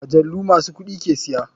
Majalu masu kuɗi ke siya.